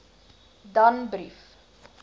danbrief